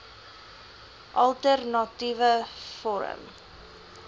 alter natiewe forum